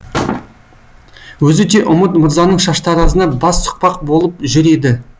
өзі де үміт мырзаның шаштаразына бас сұқпақ болып жүр еді